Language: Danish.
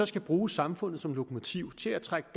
skal bruge samfundet som lokomotiv til at trække